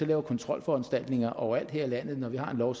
laver kontrolforanstaltninger overalt her i landet at når vi har en lov